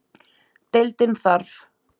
Deildin þarf